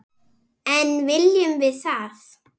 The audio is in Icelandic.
En viljum við það?